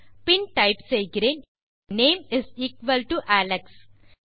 பின் type செய்கிறேன் name equal to Alex